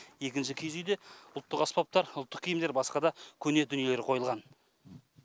екінші киіз үйде ұлттық аспаптар ұлттық киімдер басқа да көне дүниелер қойылған